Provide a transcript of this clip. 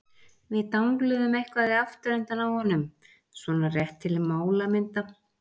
Við dangluðum eitthvað í afturendann á honum- svona rétt til málamynda.